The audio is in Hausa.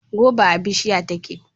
Goba a bishiya take.